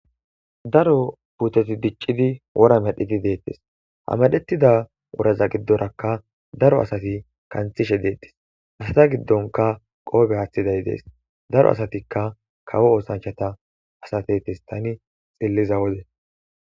Daro puuteti diccidi wora medhiti deettes hamadettida wuraza giddorakka daro asati kanthishe deettes asata giddonka qoobe aaththiday dees daro asatikka kawo oosanchata asatetes tani xilliza wode.